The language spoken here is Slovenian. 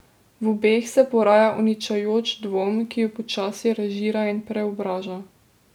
V obeh se poraja uničujoč dvom, ki ju počasi razžira in preobraža.